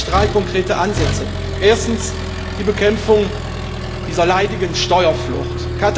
Daher sehe ich drei konkrete Ansätze erstens die Bekämpfung dieser leidigen Steuerflucht.